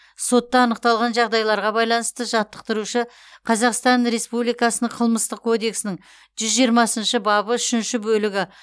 сотта анықталған жағдайларға байланысты жаттықтырушы қазақстан республикасының қылмыстық кодексінің жүз жиырмасыншы бабы үшінші бөлігі